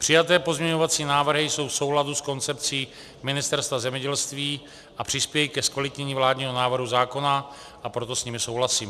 Přijaté pozměňovací návrhy jsou v souladu s koncepcí Ministerstva zemědělství a přispějí ke zkvalitnění vládního návrhu zákona, a proto s nimi souhlasím.